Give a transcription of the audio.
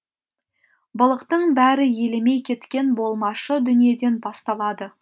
былықтың бәрі елемей кеткен болмашы дүниеден басталады